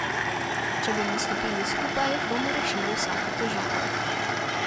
Če bomo stopili skupaj, bomo rešili vsako težavo.